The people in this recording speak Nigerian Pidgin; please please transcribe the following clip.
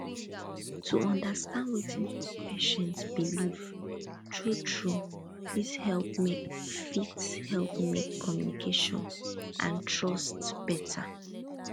to understand wetin patient believe truetrue fit help make fit help make communication and trust better